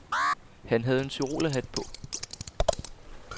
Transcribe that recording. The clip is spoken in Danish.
Han havde en tyrolerhat på.